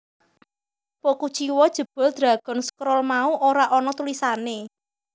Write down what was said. Po kuciwa jebul Dragon Scroll mau ora ana tulisané